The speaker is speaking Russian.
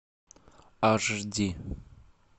аш ди